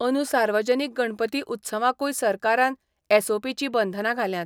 अंदू सार्वजनीक गणपती उत्सवांकूय सरकारान एसओपींचीं बंधनां घाल्यांत.